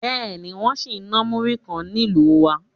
Bẹ́ẹ̀ ni, wọ́n sì ń náà múrí kan nílùú wa